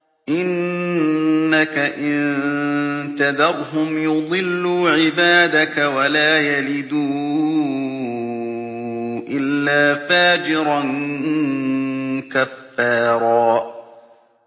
إِنَّكَ إِن تَذَرْهُمْ يُضِلُّوا عِبَادَكَ وَلَا يَلِدُوا إِلَّا فَاجِرًا كَفَّارًا